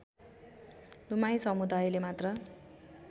दमाई समुदायले मात्र